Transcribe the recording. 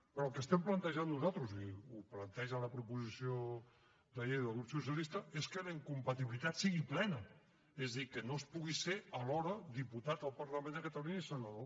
però el que estem plantejant nosaltres i ho planteja la proposició de llei del grup socialista és que la incompatibilitat sigui plena és a dir que no es pugui ser alhora diputat del parlament de catalunya i senador